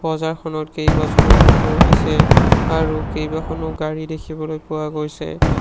বজাৰখনত কেইবাজনো মানুহ আছে আৰু কেইবাখনো গাড়ী দেখিবলৈ পোৱা গৈছে।